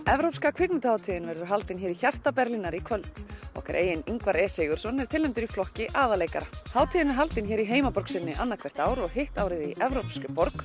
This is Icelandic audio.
evrópska kvikmyndahátíðin verður haldin hér í hjarta Berlínar í kvöld okkar eigin Ingvar e Sigurðsson er tilnefndur í flokki aðalleikara hátíðin er haldin hér í heimaborg sinni annað hvert ár og hitt árið í evrópskri borg